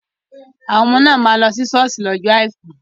Àwọn ọmọ náà máa lọ si ṣọ́ọ̀ṣì lọ́jọ àìkú.